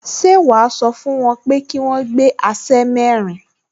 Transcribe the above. Ṣé wàá sọ fún wọn pé kí wọ́n gbé aṣẹ́ mẹ́rin